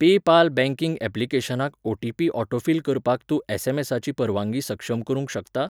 PayPal banking ऍप्लिकेशनाक OTP. Autofill करपाक तूं एस.एम.एसा.ची परवानगी सक्षम करूंक शकता?